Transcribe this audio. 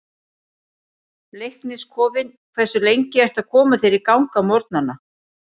Leiknis kofinn Hversu lengi ertu að koma þér í gang á morgnanna?